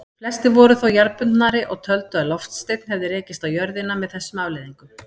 Flestir voru þó jarðbundnari og töldu að loftsteinn hefði rekist á jörðina með þessum afleiðingum.